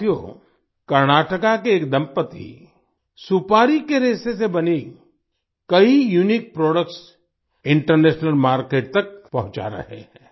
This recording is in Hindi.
साथियो कर्नाटक के एक दंपति सुपारी के रेशे से बने कई यूनिक प्रोडक्ट्स इंटरनेशनल मार्केट तक पहुँचा रहे हैं